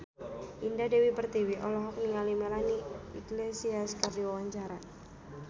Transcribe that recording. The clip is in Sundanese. Indah Dewi Pertiwi olohok ningali Melanie Iglesias keur diwawancara